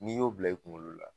N'i y'o bila i kunkolo la